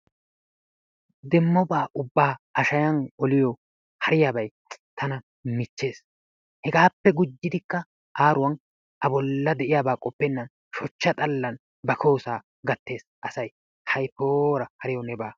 Demmobaa ubbaa a shayan oliyoo hariyabay tana keehiippe michchees hegappe gujidikka aaruwan a bolla de'iyabaa qoppenan shochcha xallan ba koyosaa gattees asay hay poora hariyawu neba.